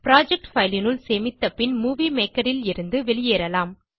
project file னுள் சேமித்த பின் மூவி மேக்கர் லிருந்து வெளியேறலாம்